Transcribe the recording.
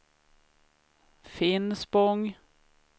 Finspång